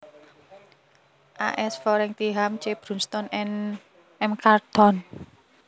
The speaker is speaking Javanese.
A S Fotheringham C Brunsdon and M Charlton